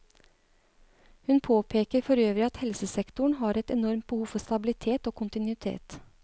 Hun påpeker for øvrig at helsesektoren har et enormt behov for stabilitet og kontinuitet.